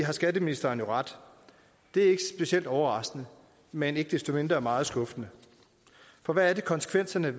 har skatteministeren jo ret det er ikke specielt overraskende men ikke desto mindre meget skuffende for hvad er det konsekvenserne